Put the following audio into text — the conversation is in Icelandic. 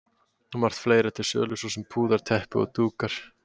Margt fleira er til sölu, svo sem púðar, teppi og dúkar.